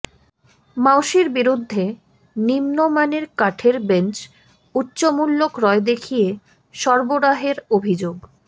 মাউশির বিরুদ্ধে নিম্নমানের কাঠের বেঞ্চ উচ্চমূল্যে ক্রয় দেখিয়ে সরবরাহের অভিযোগ